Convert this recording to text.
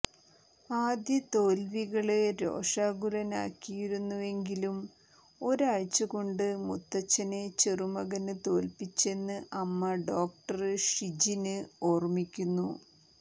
ആദ്യ തോല്വികള് രോഷാകുലനാക്കിയിരുന്നുവെങ്കിലും ഒരാഴ്ച കൊണ്ട് മുത്തച്ഛനെ ചെറുമകന് തോല്പ്പിച്ചെന്ന് അമ്മ ഡോക്ടര് ഷിജിന് ഓര്മ്മിക്കുന്നു